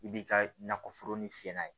I b'i ka nakɔforo ni fiyɛ n'a ye